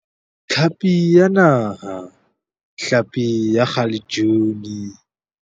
Tlhapi ya Naha, hlapi ya kgalejuni.